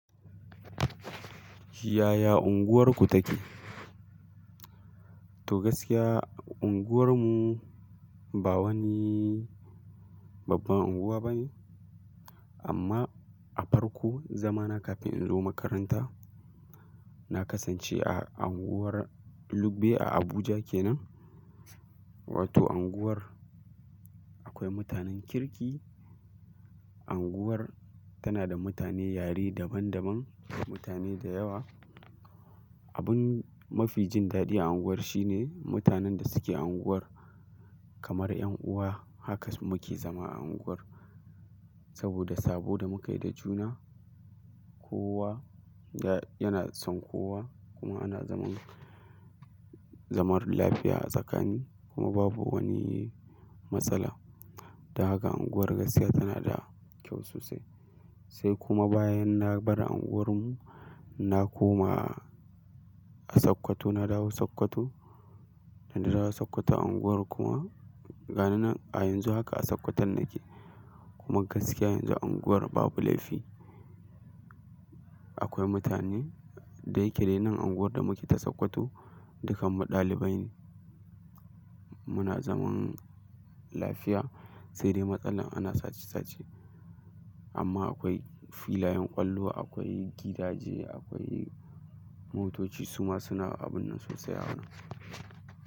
Yaya unguwarku take? To gaskiya, unguwarmu ba wani babban unguwa bane. Amma a farko, zamana kafin in zo makaranta, na kasance a unguwar Lugbe a Abuja kenan. Wato unguwar akwai mutanen kirki. Unguwar tana da mutane yare daban daban, mutane da yawa. Abin mafi jin daɗi a unguwar shine mutanen da suke unguwar kamar 'yan uwa. Haka muke zama a unguwar saboda sabo da muka yi da juna. Kowa yana son kowa kuma ana zaman, zaman lafiya a tsakani kuma babu wani matsala. Don haka unguwar gaskiya tana da kyau sosai. Sai kuma bayan na bar unguwarmu na koma a Sokoto, na dawo Sokoto, na dawo Sokoto a unguwar kuma, ga nan a yanzu haka a Sokoton nake. Kuma gaskiya yanzu unguwar babu laifi. Akwai mutane, dai ke dai nan unguwar da muke ta Sokoto dukkanmu ɗalibai ne muna zaman lafiya. Sai dai matsala ana sace sace. Amma akwai filayen ƙwallo, akwai gidaje, akwai motoci suma suna abun nan sosai a wurin.